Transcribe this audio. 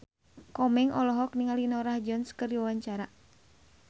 Komeng olohok ningali Norah Jones keur diwawancara